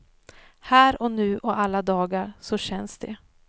Här och nu och alla dagar, så känns det.